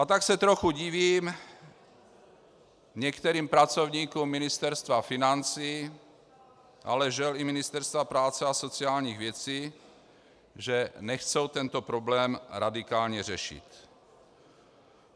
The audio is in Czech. A tak se trochu divím některým pracovníkům Ministerstva financí, ale žel i Ministerstva práce a sociálních věcí, že nechtějí tento problém radikálně řešit.